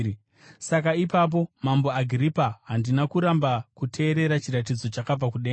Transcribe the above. “Saka ipapo, Mambo Agiripa, handina kuramba kuteerera kuchiratidzo chakabva kudenga.